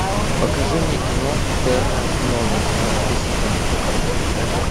покажи мне кино терра нова двенадцатый сезон